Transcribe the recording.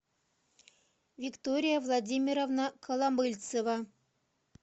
виктория владимировна коломыльцева